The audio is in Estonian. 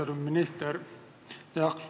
Austatud minister!